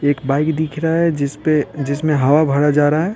एक बाइक दिख रहा हैजिस पे जिसमें हवा भरा जा रहा है।